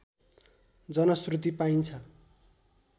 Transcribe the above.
जनश्रुति पाइन्छ